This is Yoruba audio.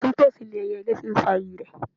Tọ̀tún tòsì ni ẹyẹlé fi ń fa ire.